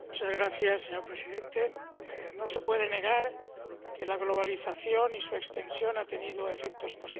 Señor presidente, no se puede negar que la globalización y su extensión han tenido efectos positivos.